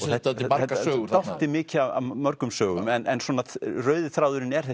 dálítið margar sögur dálítið mikið af mörgum sögum en rauði þráðurinn er